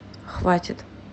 хватит